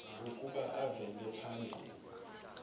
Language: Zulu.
ukuba avele phambi